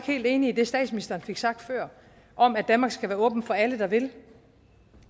helt enig i det statsministeren fik sagt før om at danmark skal være åben for alle der vil